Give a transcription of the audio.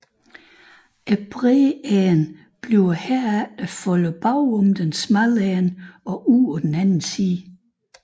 Den brede ende bliver herefter foldet bagom den smalle ende og ud på den anden side